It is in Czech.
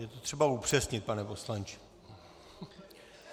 Je to třeba upřesnit, pane poslanče.